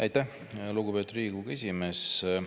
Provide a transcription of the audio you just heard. Aitäh, lugupeetud Riigikogu esimees!